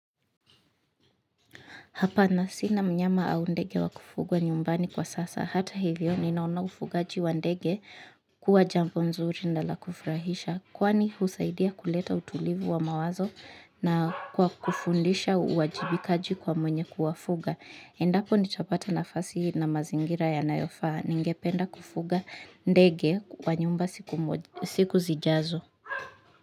Hapana sina mnyama au ndege wa kufugwa nyumbani kwa sasa. Hata hivyo ninaona ufugaji wa ndege huwa jambo mzuri na la kufurahisha. Kwani husaidia kuleta utulivu wa mawazo na kwa kufundisha uwajibikaji kwa mwenye kuwafuga. Endapo nitapata nafasi na mazingira yanayofaa. Ningependa kufuga ndege wa nyumba siku zijazo.